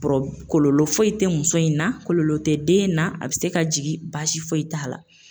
kɔlɔlɔ foyi tɛ muso in na kɔlɔlɔ tɛ den na a bɛ se ka jigin basi foyi t'a la.